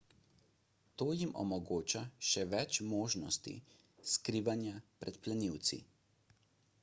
to jim omogoča še več možnosti skrivanja pred plenilci